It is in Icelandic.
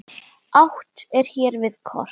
Átt er hér við kort.